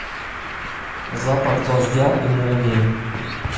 запах дождя и молнии